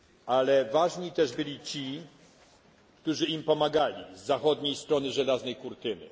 Ale ważni też byli ci, którzy im pomagali z zachodniej strony żelaznej kurtyny.